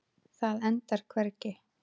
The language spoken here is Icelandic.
Það endar hvergi.